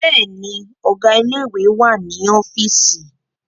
Bẹ́ẹ̀ni, Ọ̀gá ilé ìwé wà ní ọ́fíìsì